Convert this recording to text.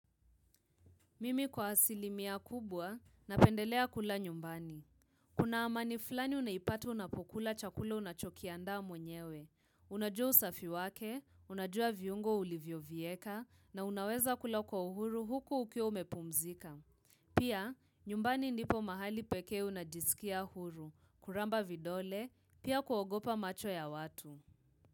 Mimi kwa asilimia kubwa napendelea kula nyumbani. Kuna amani fulani unaipata unapokula chakula unachokiandaa mwenyewe. Unajua usafi wake, unajua viungo ulivyo vieka na unaweza kula kwa uhuru huku ukiwa umepumzika. Pia nyumbani ndipo mahali pekee unajiskia uhuru, kuramba vidole, pia kuogopa macho ya watu.